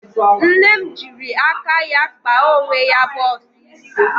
Nne m jịrị aka ya kpa onwe ya bọx isi.